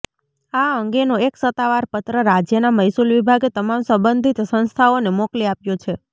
આ અંગેનો એક સત્તાવાર પત્ર રાજ્યના મહેસૂલ વિભાગે તમામ સંબંધિત સંસ્થાઓને મોકલી આપ્યો છે